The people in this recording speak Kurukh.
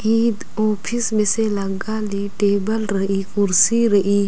ईद ओफिस मेसे लग्गा ली टेबल रइई कुर्सी रइई---